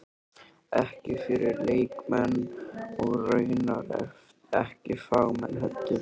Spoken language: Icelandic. Ekki fyrir leikmenn- og raunar ekki fagmenn heldur.